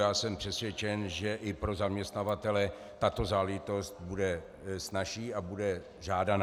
Já jsem přesvědčen, že i pro zaměstnavatele tato záležitost bude snazší a bude žádaná.